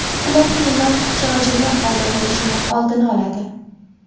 Ular kiyimda ortiqcha g‘ijimlar paydo bo‘lishini oldini oladi.